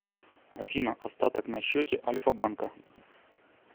афина остаток на счете альфа банка